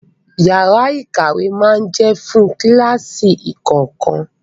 Yàrá ìkàwé máa jẹ́ fún kíláàsì kọ̀ọ̀kan.